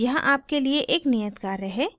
यहाँ आपके लिए एक नियत कार्य है